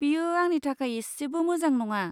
बेयो आंनि थाखाय एसेबो मोजां नङा।